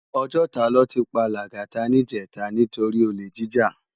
Òjòtá lò ti pá Lagata nijètá nitóri ólé jijá